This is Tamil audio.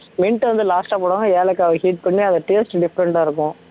mint வந்து last ஆ போடுவாங்க ஏலக்காவை heat பண்ணி அந்த taste different ஆ இருக்கும்